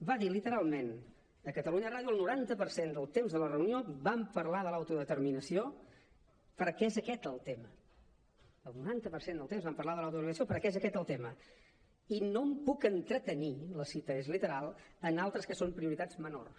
va dir literalment a catalunya ràdio el noranta per cent del temps de la reunió vam parlar de l’autodeterminació perquè és aquest el tema el noranta per cent del temps vam parlar de l’autodeterminació perquè és aquest el tema i no em puc entretenir la cita és literal en altres que són prioritats menors